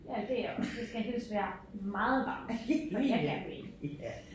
Ja det jeg også det skal helst være meget varmt før at jeg gerne vil i